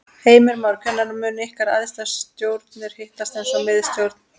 Heimir Már: Hvenær munu ykkar æðstu stjórnir hittast eins og miðstjórn?